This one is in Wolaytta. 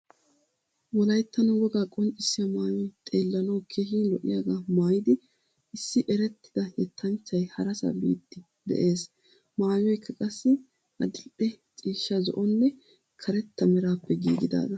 Wolayttan wogaa qonccissiya maayoy xeellanawu keehin lo'yagaa maayidi issi erettida yettanchchay harasa biiddi de'ees. Maayoykka qassi adidhdhe ciishsha zo'onne karetta meraappe giigidaaga.